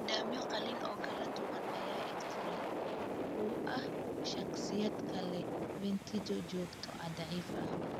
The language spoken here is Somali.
Nidaamyo qalliin oo kala duwan ayaa ikhtiyaar u ah shakhsiyaadka leh vertigo joogto ah, daciif ah.